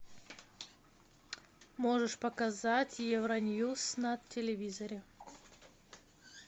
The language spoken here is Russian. можешь показать евроньюс на телевизоре